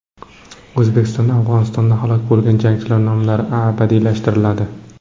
O‘zbekistonda Afg‘onistonda halok bo‘lgan jangchilar nomlari abadiylashtiriladi.